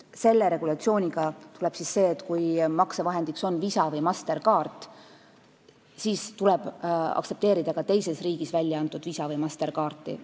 Selle regulatsiooniga tekib see, et tuleb aktsepteerida ka teises riigis väljaantud Visa või Mastercardi kaarti.